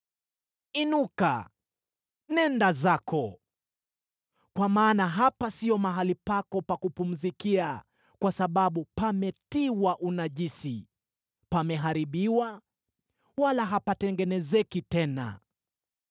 Inuka, nenda zako! Kwa maana hapa sio mahali pako pa kupumzikia, kwa sababu pametiwa unajisi, pameharibiwa, wala hapatengenezeki tena.